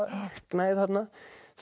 hugmyndagnægð þarna